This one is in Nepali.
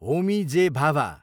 होमी जे. भाभा